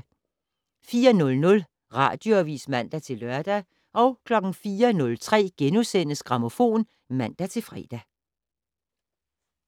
04:00: Radioavis (man-lør) 04:03: Grammofon *(man-fre)